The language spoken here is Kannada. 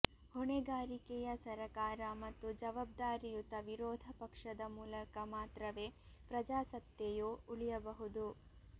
ಹೊಣೆಗಾರಿಕೆಯ ಸರಕಾರ ಮತ್ತು ಜವಾಬ್ದಾರಿಯುತ ವಿರೋಧ ಪಕ್ಷದ ಮೂಲಕ ಮಾತ್ರವೇ ಪ್ರಜಾಸತ್ತೆಯು ಉಳಿಯಬಹುದು